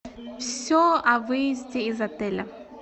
все о выезде из отеля